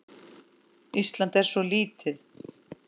Ísland er svo lítið!